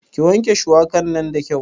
Ki wanke shuwaka nan da kyau